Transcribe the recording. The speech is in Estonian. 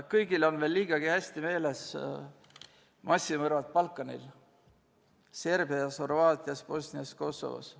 Kõigil on veel liigagi hästi meeles massimõrvad Balkanil, Serbias, Horvaatias, Bosnias ja Kosovos.